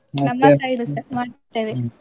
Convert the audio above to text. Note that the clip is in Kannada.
side ಸ ಮಾಡ್ತೇವೆ.